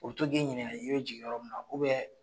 u bi to k'i ɲininka i be jigin yɔrɔ min na .